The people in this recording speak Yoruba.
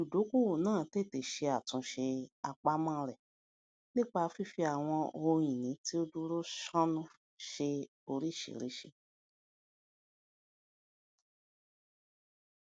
olùdókòwò náà tètè ṣe àtúnṣe àpamọ rẹ nípa fífi àwọn ohun ìní tí ó dúró sánún ṣe oríṣiríṣi